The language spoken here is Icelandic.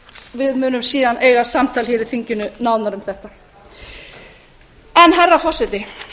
við munum síðan eiga samtal hér í þinginu nánar um þetta herra forseti